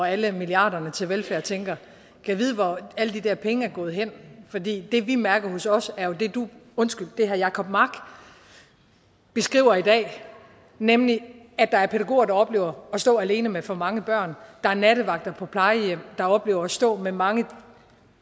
alle milliarderne til velfærd tænker gad vide hvor alle de der penge er gået hen for det det vi mærker hos os er jo det herre jacob mark beskriver i dag nemlig at der er pædagoger der oplever at stå alene med for mange børn der er nattevagter på plejehjem der oplever at stå alene med mange